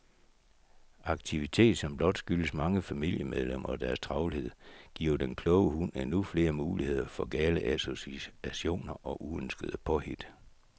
Aktivitet, som blot skyldes mange familiemedlemmer og deres travlhed, giver den kloge hund endnu flere muligheder for gale associationer og uønskede påhit.